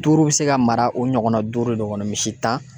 Duuru bɛ se ka mara o ɲɔgɔnna duuru de kɔnɔ misi tan